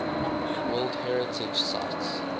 world heritage sites